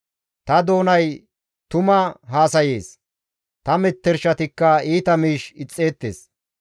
Ta doonay tuma haasayees; ta metershatikka iita miish ixxeettes.